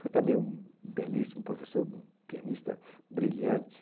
Foi também um belíssimo professor, um pianista brilhante.